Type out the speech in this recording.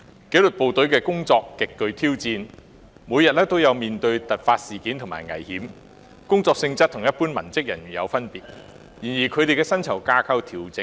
紀律部隊的工作極具挑戰，每天也須面對突發事件和各種危險，工作性質有別於一般文職工作。